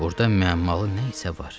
Burada müəmmalı nə isə var.